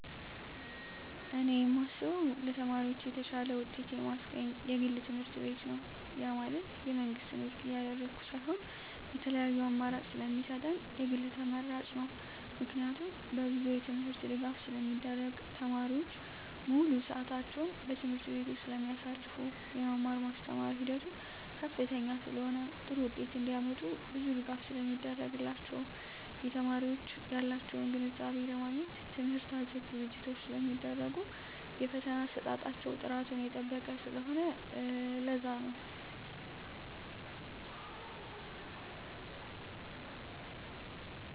እኔ የማስበው ለተማሪዎች የተሻለ ውጤት የማስገኝ የግል ትምህርትቤት ነው ያ ማለት የመንግስትን ውድቅ እያደረኩ ሳይሆን የተለያዪ አማራጭ ስለሚሰጠን የግል ተመራጭ ነው። ምክንያቱም በብዙ የትምህርት ድጋፍ ስለሚደረግ , ተማሪዎች ሙሉ ስዕታቸውን በትምህርት ቤቱ ስለማሳልፋ , የመማር ማስተማር ሂደቱ ከፍተኛ ስለሆነ ጥሩ ውጤት እንዳመጡ ብዙ ድጋፍ ስለሚደረግላቸው , የተማሪዎች ያላቸውን ግንዛቤ ለማግኘት ትምህርት አዘል ዝግጅቶች ስለሚደረጉ የፈተና አሰጣጣቸው ጥራቱን የጠበቀ ስለሆነ ለዛ ነው